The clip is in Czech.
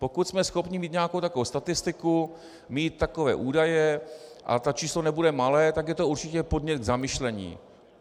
Pokud jsme schopni mít nějakou takovou statistiku, mít takové údaje, a to číslo nebude malé, tak je to určitě podnět k zamyšlení.